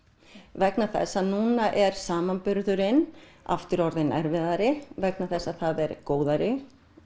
vegna þess að núna er samanburðurinn aftur orðinn erfiðari vegna þess að það er góðæri